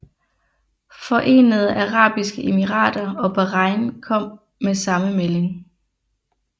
Forenede Arabiske Emirater og Bahrain kom med samme melding